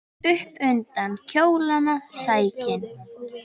Svo upp undir kjólana sækinn!